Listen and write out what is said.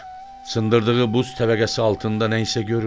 Sındırdığı buz təbəqəsi altında nə isə görür.